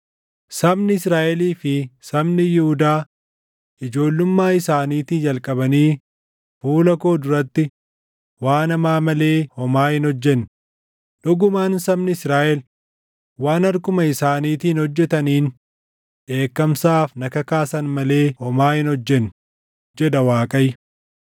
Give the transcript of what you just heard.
“Sabni Israaʼelii fi sabni Yihuudaa ijoollummaa isaaniitii jalqabanii fuula koo duratti waan hamaa malee homaa hin hojjenne; dhugumaan sabni Israaʼel waan harkuma isaaniitiin hojjetaniin dheekkamsaaf na kakaasan malee homaa hin hojjenne, jedha Waaqayyo.